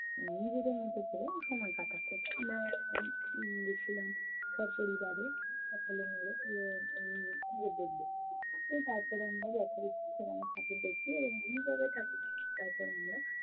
নিজেদের মতো করে সময় কাটাচ্ছে। আমরা উম গেছিলাম সপরিবারে সকলে মিলে উম ঠাকুর দেখবো। তো তারপরে আমরা যথারীতি সেখানে ঠাকুর দেখি এবং ঠাকুর দেখি তারপরে আমরা